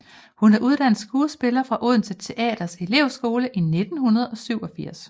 Hun er uddannet skuespiller fra Odense Teaters elevskole i 1987